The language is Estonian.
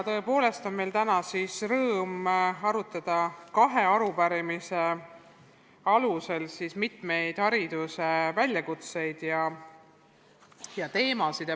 Tõepoolest on meil täna rõõm arutada kahe arupärimise alusel mitmeid hariduse väljakutseid ja teemasid.